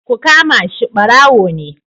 Ku kama shi. barawo ne.